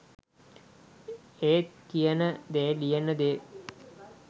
ඒත් කියන දේ ලියන දේ